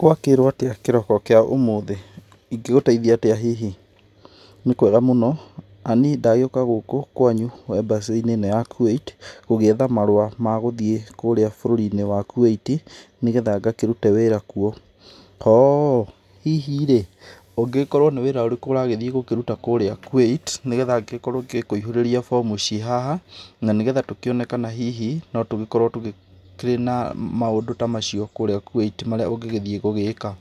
Gwakĩrwo atĩa kĩroko kĩa ũmũthĩ? ingĩgũteithia atĩa hihi? Nĩ kwega mũno, na niĩ ndagĩũka gũkũ kwanyu embassy -inĩ ĩno ya Kuwait gũgĩetha marũa magũthiĩ kũrĩa bũrũri-inĩ wa Kuwait nĩgetha ngakĩrute wĩra kuo. Oo, hihi-rĩ ũngĩkorwo nĩ wĩra ũrĩkũ ũragĩthiĩ gũkĩruta kũrĩa Kuwait, nĩgetha ngĩkorwo ngĩkũihurĩria form ciĩ haha, na nĩgetha tũkĩone kana hihi no tũgĩkorwo tũgĩkĩrĩ na maũndũ ta macio kũria Kuwait marĩa ũngĩthiĩ gũgĩka?